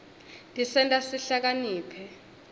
tisenta sihlakanipite